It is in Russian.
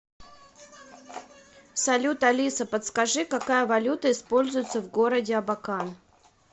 салют алиса подскажи какая валюта используется в городе абакан